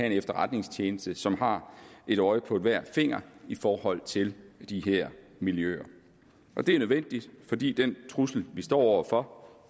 en efterretningstjeneste som har et øje på hver finger i forhold til de her miljøer det er nødvendigt fordi den trussel vi står over for